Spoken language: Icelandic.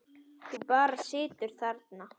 Þú bara situr þarna.